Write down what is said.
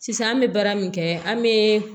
Sisan an bɛ baara min kɛ an bɛ